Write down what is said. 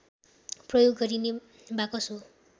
प्रयोग गरिने बाकस हो